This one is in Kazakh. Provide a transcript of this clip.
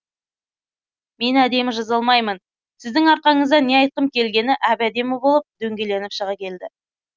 мен әдемі жаза алмаймын сіздің арқаңызда не айтқым келгені әп әдемі болып дөңгеленіп шыға келді